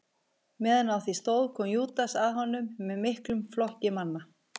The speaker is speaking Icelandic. Meðan á því stóð kom Júdas að honum með miklum flokki manna.